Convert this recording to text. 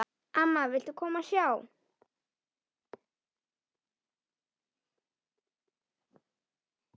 Amma, viltu koma og sjá!